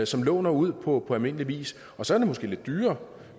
som låner ud på almindelig vis og så er det måske lidt dyrere